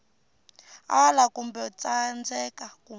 ala kumbe ku tsandzeka ku